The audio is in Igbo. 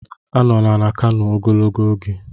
Anọla na Kano ogologo oge!